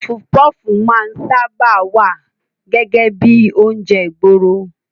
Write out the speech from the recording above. Pọfupọ́fù máa ń sáábà wá gẹ́gẹ́ bíi oúnjẹ ìgboro.